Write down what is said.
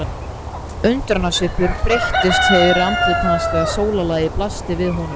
Undrunarsvipur breiddist yfir andlit hans þegar sólarlagið blasti við honum.